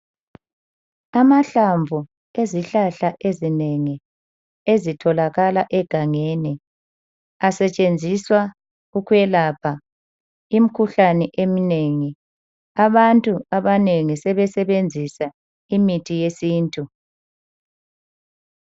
Amahlamvu ezihlahla ezinengi ezitholakala egangeni asetshenziswa ukwelapha imikhuhlane eminengi. Abantu abanengi sebesebenzisa imithi yesintu.